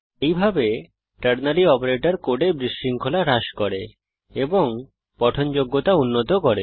এইভাবে ternary operator কোডে বিশৃঙ্খলা হ্রাস করে এবং পঠনযোগ্যতা উন্নত করে